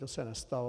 To se nestalo.